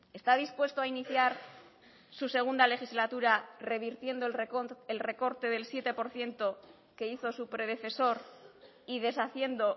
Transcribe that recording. está dispuesto a iniciar su segunda legislatura revirtiendo el recorte del siete por ciento que hizo su predecesor y deshaciendo